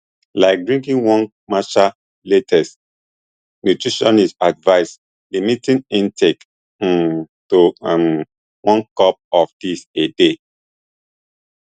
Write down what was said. like drinking one matcha latte nutritionists advise limiting intake um to um one cup of dis a day